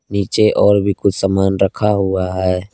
नीचे और भी कुछ सामान रखा हुआ है।